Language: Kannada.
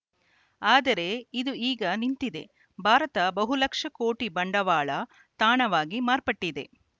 ಆದರೆ ಇದು ಈಗ ನಿಂತಿದೆ ಭಾರತ ಬಹುಲಕ್ಷ ಕೋಟಿ ಬಂಡವಾಳ ತಾಣವಾಗಿ ಮಾರ್ಪಟ್ಟಿದೆ